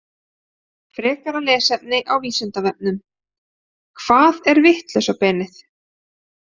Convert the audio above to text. Frekara lesefni á Vísindavefnum: Hvað er vitlausa beinið?